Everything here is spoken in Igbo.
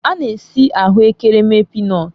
A na-esi ahụ ekere mee pịnọtu.